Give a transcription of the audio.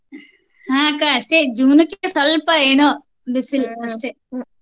ಹಾ ಅಕ್ಕ ಅಷ್ಟೇ June ಕ್ಕಿಂತ ಸ್ವಲ್ಪ ಏನೋ ಬಿಸ್ಲು ಅಷ್ಟೇ.